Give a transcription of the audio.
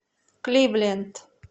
кливленд